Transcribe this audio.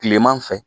Kileman fɛ